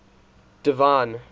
divine